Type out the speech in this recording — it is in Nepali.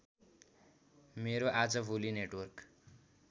मेरो आजभोलि नेटवर्क